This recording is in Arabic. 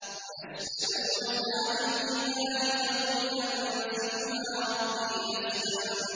وَيَسْأَلُونَكَ عَنِ الْجِبَالِ فَقُلْ يَنسِفُهَا رَبِّي نَسْفًا